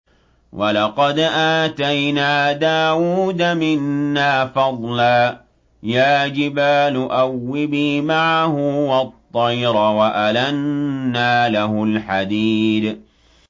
۞ وَلَقَدْ آتَيْنَا دَاوُودَ مِنَّا فَضْلًا ۖ يَا جِبَالُ أَوِّبِي مَعَهُ وَالطَّيْرَ ۖ وَأَلَنَّا لَهُ الْحَدِيدَ